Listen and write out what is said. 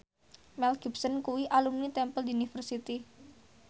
Mel Gibson kuwi alumni Temple University